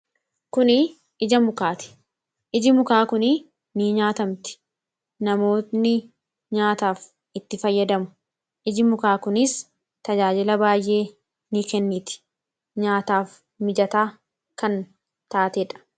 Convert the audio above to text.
kuni ija mukaati iji mukaa kun ni nyaatamti namootni nyaataaf itti fayyadamu iji mukaa kuniis tajaajila baay'ee ni kenniiti nyaataaf mijataa kan taateedha.